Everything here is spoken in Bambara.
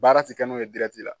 Baara t'i kɛ n'o ye la.